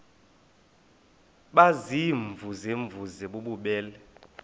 baziimvuze mvuze bububele